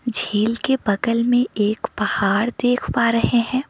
झील के बगल में एक पहाड़ देख पा रहे हैं।